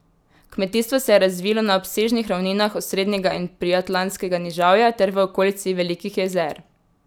Kmetijstvo se je razvilo na obsežnih ravninah Osrednjega in Priatlantskega nižavja ter v okolici Velikih jezer.